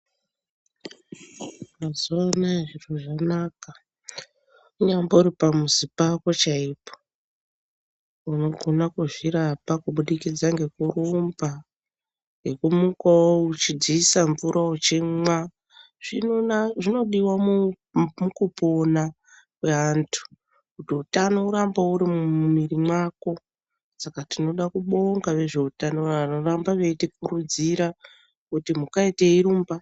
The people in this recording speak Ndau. Mazuva anaya zvinhu zvanaka unyambori pamizi pako chaipo. Unogona kuzvirapa kubudikidza ngekurumba nekumukavo uchidzisa mvura uchimwa. Zvinodiva mukupona kweantu kuti utano urambe uri mumwiri mwako. Saka tinoda kubonga vezveutano vanoramba veitikurudzira kuti mukai teirumba.